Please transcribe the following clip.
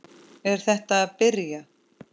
Er þetta að byrja?